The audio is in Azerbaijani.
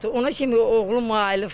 Ona kimi oğlum ayılıbdır.